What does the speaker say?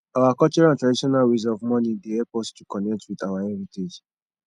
our cultural and traditional ways of mourning dey help us to connect with our heritage